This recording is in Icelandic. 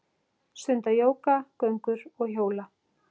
Stunda jóga, göngur og hjóla.